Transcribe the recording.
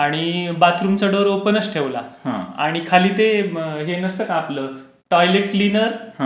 आणि बाथरूमचा डोर ओपनच ठेवला आणि खाली ते हे नसतं का आपलं टॉयलेट क्लीनर हा.